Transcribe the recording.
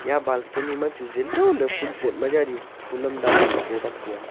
eya balcony ma chu zinlo ley fun pot ma jali fun am danley ley taibak taiya.